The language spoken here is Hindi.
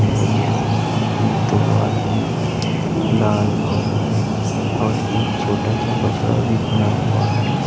जिसके सामने दो आदमी लाल और हरे और एक छोटा सा बछड़ा भी खड़ा हुआ है।